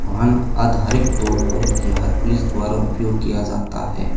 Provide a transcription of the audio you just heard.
वाहन आधारिक तौर पर बिहार पुलिस द्वारा उपयोग किया जाता है।